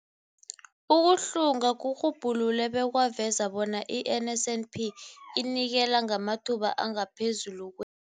Ukuhlunga kurhubhulule bekwaveza bona i-NSNP inikela ngamathuba angaphezulu kwe-